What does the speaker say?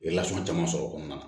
I bɛ lasunɔgɔ caman sɔrɔ o kɔnɔna na